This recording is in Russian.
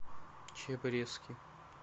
чеб резки